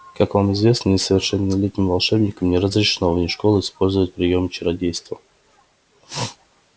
как вам известно несовершеннолетним волшебникам не разрешено вне школы использовать приёмы чародейства